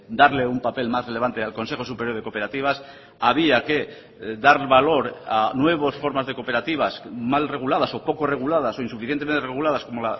darle un papel más relevante al consejo superior de cooperativas había que dar valor a nuevas formas de cooperativas mal reguladas o poco reguladas o insuficientemente reguladas como